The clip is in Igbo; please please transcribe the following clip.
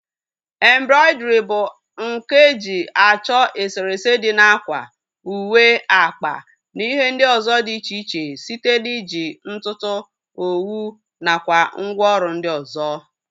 Embrọidrii bụ nkà eji achọ eserese dị na ákwà, uwe, akpa na ihe ndị ọzọ dị iche iche site na iji ntutu, owu nakwa ngwa ọrụ ndị ọzọ